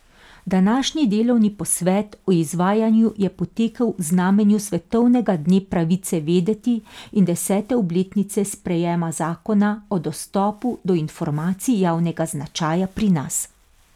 Današnji delovni posvet o izvajanju je potekal v znamenju svetovnega dne pravice vedeti in desete obletnice sprejema zakona o dostopu do informacij javnega značaja pri nas.